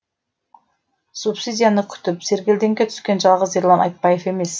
субсидияны күтіп сергелдеңге түскен жалғыз ерлан айтбаев емес